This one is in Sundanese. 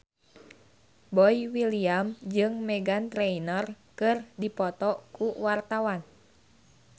Boy William jeung Meghan Trainor keur dipoto ku wartawan